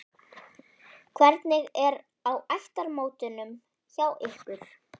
Hvernig er á ættarmótunum hjá ykkur?